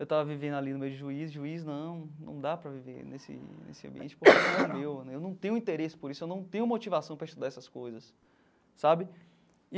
Eu estava vivendo ali no meio de juiz, juiz não, não dá para viver nesse nesse ambiente porque não é meu, eu não tenho interesse por isso, eu não tenho motivação para estudar essas coisas, sabe?